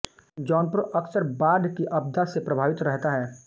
जौनपुर अक्सर बाढ़ की आपदा से प्रभावित रहता है